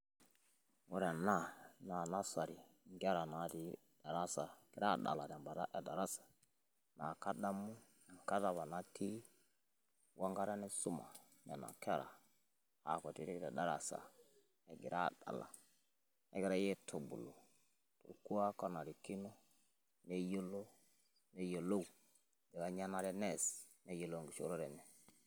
Ore enaa naa nasari nkerra natii ildarasaa ketii adalaa ntembaata edarasa. Naa kadaamu ng'ataa apaa natii ong'ata neesumaa tenaa nkerra ankutiti te darasa ang'ira adaala neng'irai eitubuluu elkwuak onairikino neyeloo neyelou lanyanare nees neyelou enkishoorere enye.